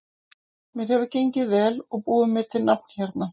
Mér hefur gengið vel og búið mér til nafn hérna.